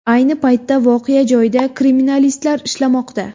Ayni paytda voqea joyida kriminalistlar ishlamoqda.